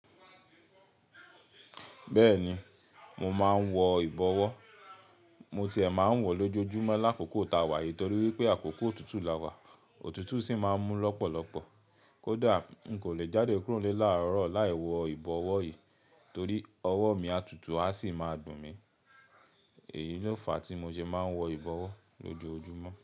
Bẹ́ẹ̀ni, mo máa ń wọ ìbọwọ́. Mo tiẹ̀ máa ń wọ̀ lójojúmọ́ lákòókò táa wà yìí torí wípé àkókò òtútù lawà, òtútù sì máa ń mú lọ́pọ̀lọpọ̀. Kódà n kò lè jáde kúrò nílé láàárọ̀ láì wọ ìbọwọ́ yìí torí ọwọ́ mi a tutù, a sì máa dun mi. Ee èyí ni òǹfà tí mo ṣe máa ń wọ ìbọwọ́ lójoojúmọ́.